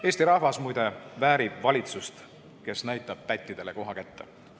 Eesti rahvas väärib valitsust, kes näitab pättidele koha kätte.